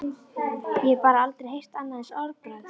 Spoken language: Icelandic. Ég hef bara aldrei heyrt annað eins orðbragð!